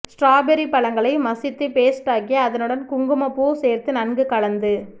strawberry பழங்களை மசித்து paste ஆக்கி அதனுடன் குங்குமப் பூ சேர்த்து நன்கு கலந்து